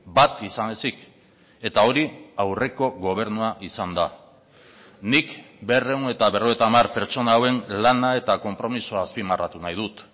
bat izan ezik eta hori aurreko gobernua izan da nik berrehun eta berrogeita hamar pertsona hauen lana eta konpromisoa azpimarratu nahi dut